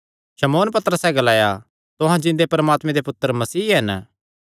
शमौन पतरसैं जवाब दित्ता तुहां जिन्दे परमात्मे दे पुत्तर मसीह हन